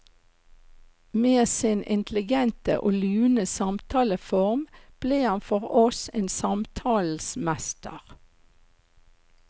Med sin intelligente og lune samtaleform ble han for oss en samtalens mester.